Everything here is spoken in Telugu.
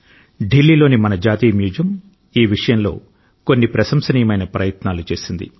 ఢిల్లీలోని మన జాతీయ మ్యూజియం ఈ విషయంలో కొన్ని ప్రశంసనీయమైన ప్రయత్నాలు చేసింది